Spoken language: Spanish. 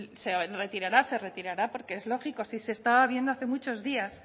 se retirará se retirará porque es lógico si se estaba viendo hace muchos días